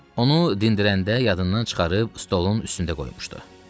Onu dindirəndə yadından çıxarıb stolun üstündə qoymuşdu.